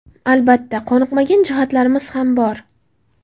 Albatta, qoniqmagan jihatlarimiz ham bor.